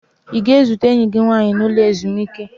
Ị ga-ezute enyi gị nwaanyị n'ụlọ ezumike?